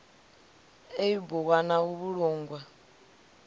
ḽeibu ḽwa na u vhulungwa